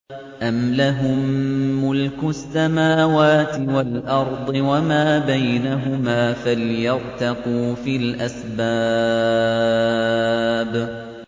أَمْ لَهُم مُّلْكُ السَّمَاوَاتِ وَالْأَرْضِ وَمَا بَيْنَهُمَا ۖ فَلْيَرْتَقُوا فِي الْأَسْبَابِ